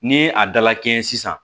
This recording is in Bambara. Ni a dala kɛɲɛ sisan